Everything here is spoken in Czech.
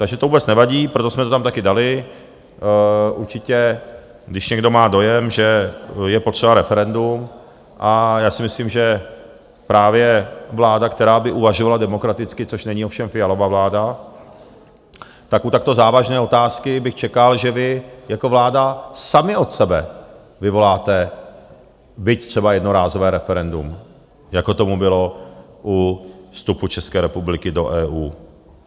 Takže to vůbec nevadí, proto jsme to tam taky dali, určitě, když někdo má dojem, že je potřeba referendum, a já si myslím, že právě vláda, která by uvažovala demokraticky, což není ovšem Fialova vláda, tak u takto závažné otázky bych čekal, že vy jako vláda sami od sebe vyvoláte - byť třeba jednorázové - referendum, jako tomu bylo u vstupu České republiky do EU.